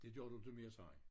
Det gør du ikke mere sagde han